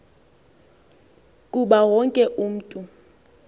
kuba wonke umntu